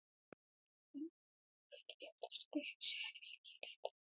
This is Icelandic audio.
Sveinberg, hver er dagsetningin í dag?